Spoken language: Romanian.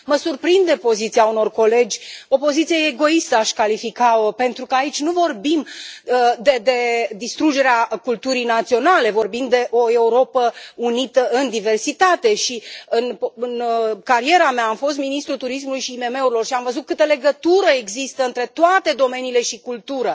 Mă surprinde poziția unor colegi, o poziție egoistă aș califica o pentru că aici nu vorbim de distrugerea culturii naționale, vorbim de o Europă unită în diversitate și în cariera mea am fost ministrul turismului și IMM urilor și am văzut câtă legătură există între toate domeniile și cultură.